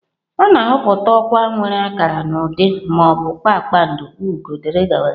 A na-ahọpụta ọkwa nwere akara n'ụdị ma ọ bụ kpakpando, ugo wdg.